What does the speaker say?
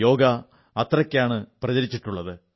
യോഗ അത്രയ്ക്കാണ് പ്രചരിച്ചിട്ടുള്ളത്